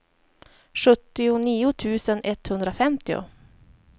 sjuttionio tusen etthundrafemtio